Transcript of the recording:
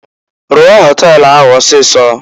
Rụọ họtel ahụ ọsịịsọ!